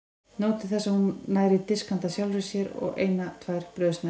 Nóg til þess að hún nær í disk handa sjálfri sér og eina tvær brauðsneiðar.